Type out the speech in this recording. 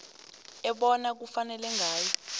ebona kufanele ngayo